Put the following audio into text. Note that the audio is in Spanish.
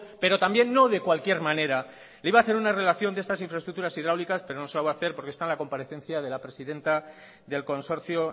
pero también no de cualquier manera le iba a hacer una relación de estas infraestructuras hidráulicas pero no se las voy a hacer porque están en la comparecencia de la presidenta del consorcio